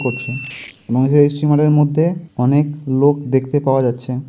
করছে এবং সেই স্টিমার এর মধ্যে অনেক লোক দেখতে পাওয়া যাচ্ছে।